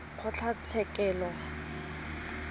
kgotlatshekelo